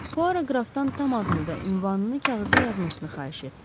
Puaro qrafdan tam adını və ünvanını kağıza yazmasını xahiş etdi.